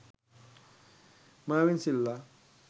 mervin silva